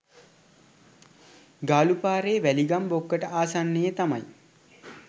ගාලු පාරේ වැලිගම් බොක්කට ආසන්නයේ තමයි